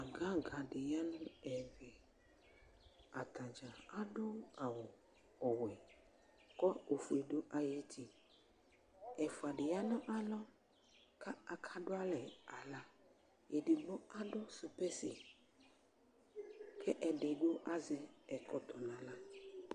aga aga dɩ ya nʊ ɛmɛ, atadza adʊ awu ɔwɛ, kʊ ofie dʊ ay'uti, ɛfua dɩ ta nʊ alɔ, kʊ akadʊ alɛ aɣla, edigbo supɛsi, kʊ edigbo azɛ ɛkɔtɔ nʊ aɣla